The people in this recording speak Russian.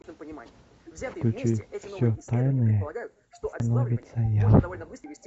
включи все тайное становится явным